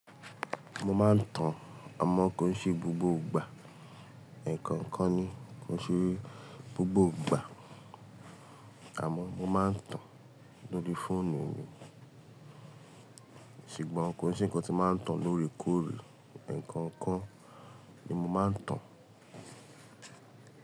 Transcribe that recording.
Mo máa ń tan àmọ́ kó n ṣe gbogbo ìgbà. Ǹkankan ni mo ṣe gbogbo ìgbà àmọ́ mo máa ń tan lórí fóònù mi, ṣùgbọ́n kò nṣe ǹkan tí máa ń tan lóore kóòrè. Ekookan ni mo máa ń tan.